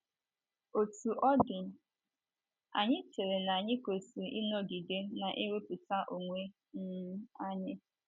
Otú ọ dị, anyị chere na anyị kwesịrị ịnọgide na - ewepụta onwe um anyị.